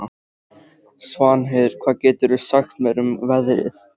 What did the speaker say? Svanheiður, hvað geturðu sagt mér um veðrið?